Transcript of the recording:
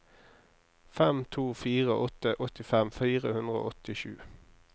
fem to fire åtte åttifem fire hundre og åttisju